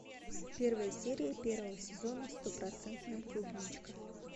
первая серия первого сезона стопроцентная клубничка